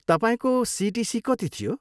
तपाईँको सिटिसी कति थियो?